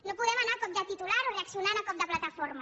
no podem anar a cop de titular o reaccionant a cop de plataforma